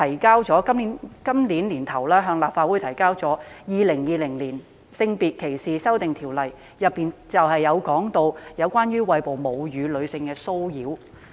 今年年初，政府向立法會提交《2020年性別歧視條例草案》，當中涉及對餵哺母乳的女性的騷擾。